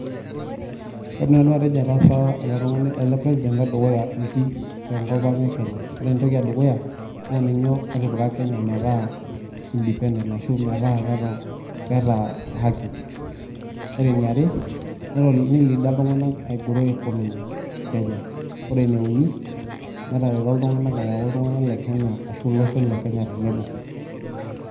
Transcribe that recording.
Kaidim nanu ataasa eletungani elepresident ledukuya inji tenkopang ekenya ore entoki edukuya naa ninye otipika kenya metaa indepedent ashu metaa keeta haki . Ore eniare nilida iltunganak aigrow economy ekenya. Ore eneuni netareto iltunganak ayau iltunganak lekenya ashu iloshon lekenya tenebo .